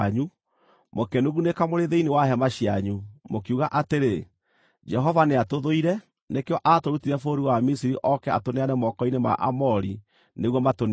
Mũkĩnugunĩka mũrĩ thĩinĩ wa hema cianyu, mũkiuga atĩrĩ, “Jehova nĩatũthũire; nĩkĩo aatũrutire bũrũri wa Misiri oke atũneane moko-inĩ ma Aamori nĩguo matũniine.